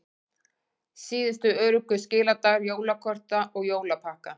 Síðustu öruggu skiladagar jólakorta og jólapakka